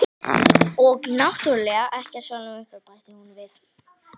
Og náttúrlega ekkert sjálfum ykkur, bætti hún við.